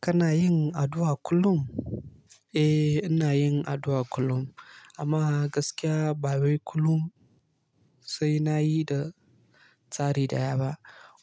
Kana yin addu'a kullum? Eh, ina yin addu'a kullum amma gaskiya ba wai kullum sai na yi da tsari daya ba.